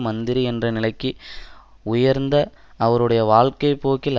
மந்திரி என்ற நிலைக்கு உயர்ந்த அவருடைய வாழ்க்கை போக்கில்